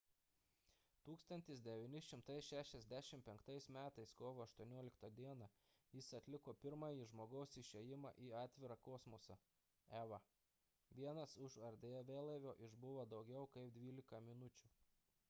1965 m. kovo 18 d. jis atliko pirmąjį žmogaus išėjimą į atvirą kosmosą eva – vienas už erdvėlaivio išbuvo daugiau kaip dvylika minučių